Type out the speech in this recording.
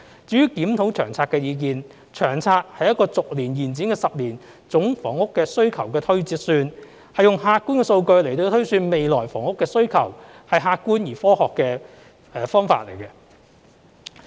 至於檢討《長遠房屋策略》的意見，《長策》是一個逐年延展的10年總房屋需求的推算，是用客觀的數據來推算未來房屋的需求，是客觀而科學的方法。